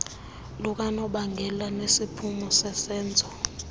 lukanobangela nesiphumo sesenzo